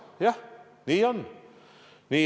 Jah, nii on.